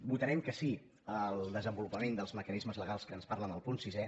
votarem que sí al desenvolupament dels mecanismes legals de què ens parla en el punt sisè